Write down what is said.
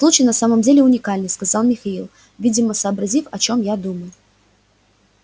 случай на самом деле уникальный сказал михаил видимо сообразив о чём я думаю